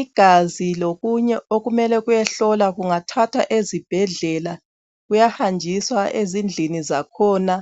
Igazi lokunye okumele kuyehlolwa kungathathwa ezibhedlela kuyahanjiswa ezindlini zakhona